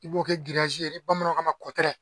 I b'o kɛ ye ni bamananw ko a ma kɔtɛrɛ.